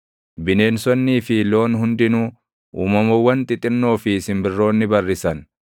bineensonnii fi loon hundinuu, uumamawwan xixinnoo fi simbirroonni barrisan,